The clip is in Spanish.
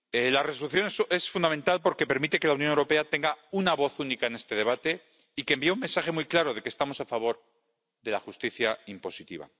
La Resolución es fundamental porque permite que la Unión Europea tenga una voz única en este debate y envía un mensaje muy claro de que estamos a favor de la justicia impositiva.